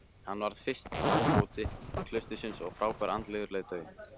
Hann varð fyrsti ábóti klaustursins og frábær andlegur leiðtogi.